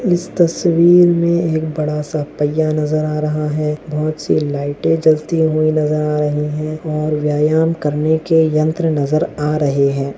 इस तस्वीर में एक बड़ा सा पहिया नजर आ रहा है बहुत सी लाइटे जलती हुई नजर आ रही है और व्यायाम करने के यंत्र नजर आ रहे हैं।